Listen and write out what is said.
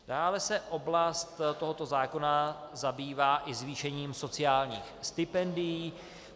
Dále se oblast tohoto zákona zabývá i zvýšením sociálních stipendií.